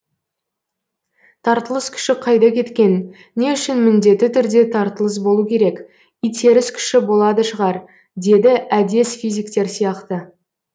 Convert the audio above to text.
тартылыс күші қайда кеткен не үшін міндетті түрде тартылыс болу керек итеріс күші болады шығар деді әдес физиктер сияқты